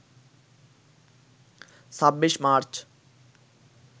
২৬ March